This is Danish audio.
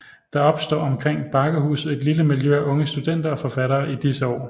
Der opstår omkring Bakkehuset et lille miljø af unge studenter og forfattere i disse år